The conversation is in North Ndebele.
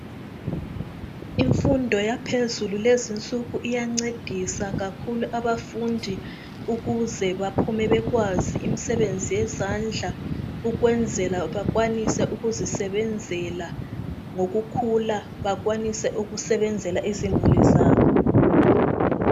Imfundo yaphezu lezi insuku iyancedisa kakhulu abafundi ukuze baphume bekwazi imisebenzi yezandla ukwenzela bakwanise ukuzisebenzela ngokukhula bakwanise ukusebenzela izimuli zabo.